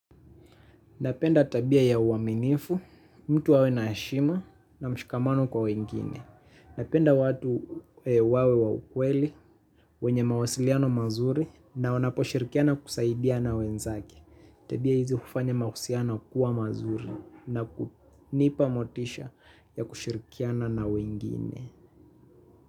Napenda tabia ya uaminifu, mtu awe na heshima na mshikamano kwa wengine. Napenda watu wawe wa ukweli, wenye mawasiliano mazuri na wanaposhirkiana kusaidia na wenzake. Tabia hizi hufanya mahusiano kuwa mazuri na kunipa motisha ya kushirkiana na wengine.